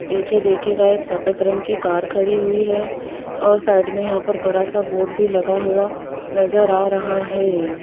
नीचे देखिएगा एक सफेद रंग की कार खड़ी हुई है और साइड में यहां पर बड़ा सा बोर्ड भी लगा हुआ नजर आ रहा है।